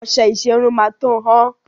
Ọṣẹ ìṣerun máa tó hán.